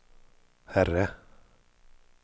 herre